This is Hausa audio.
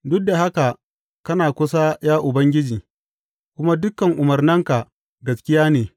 Duk da haka kana kusa, ya Ubangiji, kuma dukan umarnanka gaskiya ne.